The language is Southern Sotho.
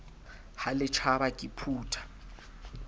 ha le tjhaba ke phutha